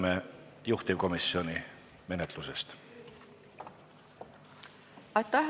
Kohe kuuleme, kuidas läks menetlus juhtivkomisjonis.